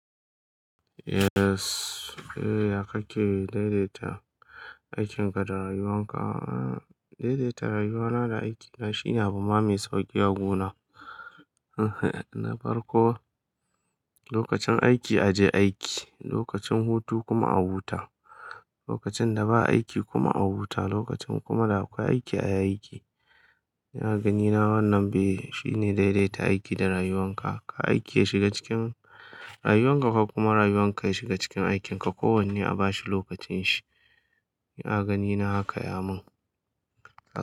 Yes. Yaya kake daidaita aikin ka da rayuwan ka? Daidaita rayuwa na da aiki na shine abu ma mai sauƙi a guna, na farko lokacin aiki a je aiki, lokacin hutu kuma a huta, lokacin da ba aiki kuma a huta, lokacin kuma da akwai aiki a yi aiki. A ganina wannan be shi ne daidaita aiki da rayuwan ka. Kar aiki ya shiga cikin rayuwan ka kar kuma rayuwan ka ya shiga cikin aikin ka. Kowanne a bashi lokacin shi. A ganina haka ya mun.